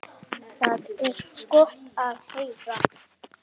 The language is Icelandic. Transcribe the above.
Það er gott að heyra.